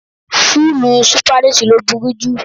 Fúlúù Sípáníṣì ló burú jù.